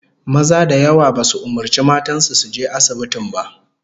Maza da yawa basu umurci matan su su je asibitin ba